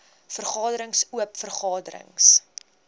vergaderings oop vergaderings